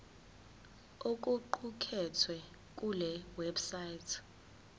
okuqukethwe kule website